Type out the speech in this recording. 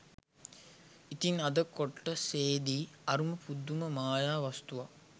ඉතින් අද කොටසෙදි අරුම පුදුම මායා වස්තුවක්